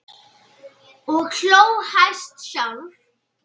Og hló hæst sjálf.